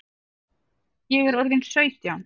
Ég er orðin sautján!